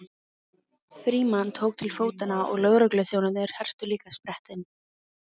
Frímann tók til fótanna og lögregluþjónarnir hertu líka sprettinn.